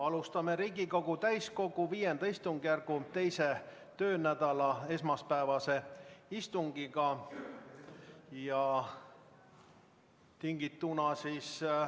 Alustame Riigikogu täiskogu V istungjärgu teise töönädala esmaspäevast istungit.